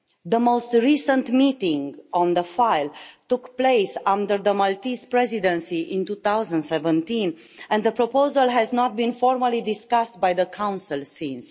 The most recent meeting on the file took place under the Maltese Presidency in 2017, and the proposal has not been formally discussed by the Council since.